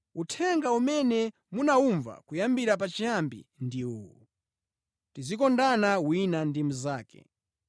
Uthenga umene munawumva kuyambira pachiyambi ndi uwu: Tizikondana wina ndi mnzake.